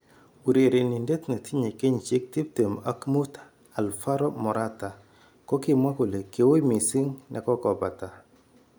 Urenenindet netinye kenyishek tip tem ak mut Alvaro Morata kokimwa kole ki ui missing nekokobata.